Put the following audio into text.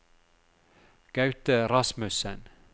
Gaute Rasmussen